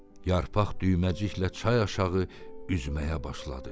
Yarpaq düyməciklə çay aşağı üzməyə başladı.